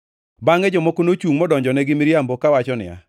Bangʼe jomoko nochungʼ modonjone gi miriambo kawacho niya,